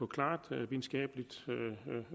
klart videnskabeligt